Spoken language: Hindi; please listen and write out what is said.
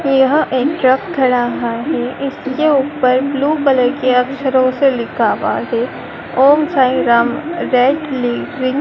यहाँ एक ट्रक खड़ा हुआ है इसके ऊपर ब्लू कलर के अक्षरों से लिखा हुआ है ओम साईं राम रेटलिटरिंग ।